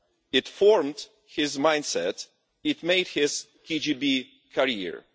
It formed his mindset, it made his KGB career.